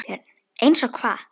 BJÖRN: Eins og hvað?